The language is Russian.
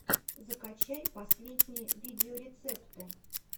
закачай последние видеорецепты